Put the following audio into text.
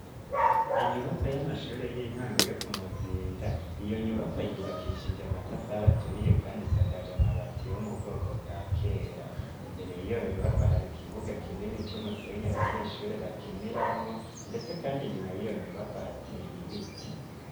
Inyubako y'amashuri y'intango yo ku muzinda iyo nyubako yubakishiija matafar aturiye kandi isakaja mabati yho mu bwoko bwa kera imbere iyo nyubako hari kibuga kinini c'umusenya abanyeshuri bakiniramwo ndetse kandi nyuma y'iyo nyubako hateye ibiti.